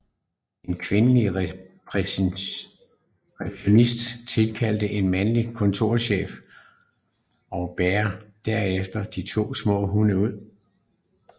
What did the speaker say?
En kvindelig receptionist tilkalder en mandlig kontorchef og bærer derefter de to små hunde ud